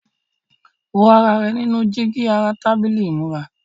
Wo ara rẹ nínú jígí ara tábìlì ìmúra.